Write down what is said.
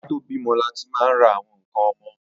Ká tó bímọ láti máa ń ra àwọn ǹkan ọmọ